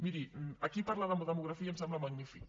miri aquí parlar de demografia em sembla magnífic